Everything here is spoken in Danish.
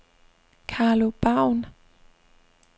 Karlo Baun